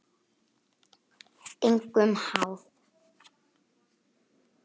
Engum háð.